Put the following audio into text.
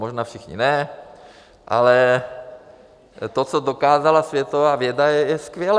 Možná všichni ne, ale to, co dokázala světová věda, je skvělé.